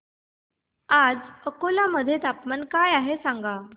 आज अकोला मध्ये तापमान काय आहे सांगा